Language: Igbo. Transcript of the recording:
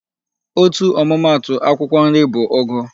Otu ọmụma atụ akwụkwọ nri bụ ụgụ.